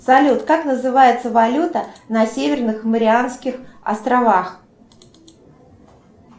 салют как называется валюта на северных марианских островах